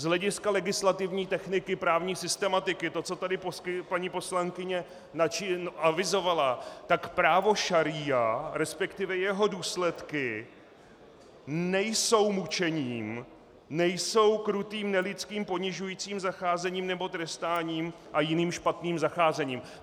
Z hlediska legislativní techniky právní systematiky to, co tady paní poslankyně avizovala, tak právo šaría, respektive jeho důsledky, nejsou mučením, nejsou krutým nelidským ponižujícím zacházením nebo trestáním a jiným špatným zacházením.